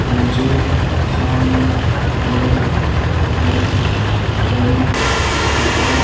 मुझे सामने एक बहोत बड़ी गुफा --